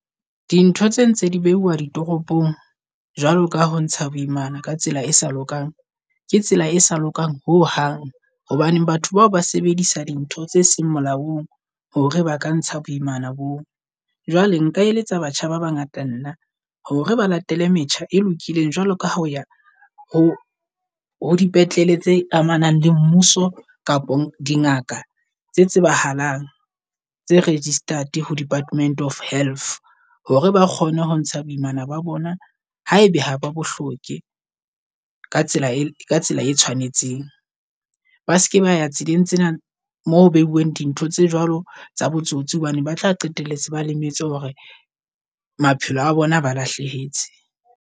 Dintho tse ntse di beuwa ditoropong jwalo ka ho ntsha boimana ka tsela e sa lokang, ke tsela e sa lokang ho hang. Hobaneng batho bao ba sebedisa dintho tse seng molaong hore ba ka ntsha boimana boo. Jwale nka eletsa batjha ba bangata nna hore ba latele metjha e lokileng jwalo ka hoya ho ho dipetlele tse amanang le mmuso kapo dingaka tse tsebahalang tse registered ho department of health. Hore ba kgone ho ntsha boimana ba bona ha ebe ha ba bo hloke ka tsela e ka tsela e tshwanetseng. Ba seke ba ya tseleng tsena mo ho beuweng dintho tse jwalo tsa botsotsi hobane ba tla qetelletse ba lemetse hore maphelo a bona aba lahlehetse.